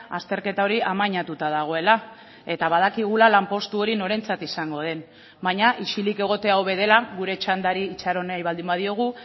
azterketa hori amainatuta dagoela eta badakigula lanpostu hori norentzat izango den baina isilik egotea hobe dela gure txandari itxaron nahi baldin badiogu